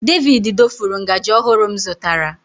David dofuru ngaji ọhụrụ m zụtara.